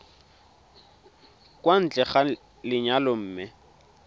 kwa ntle ga lenyalo mme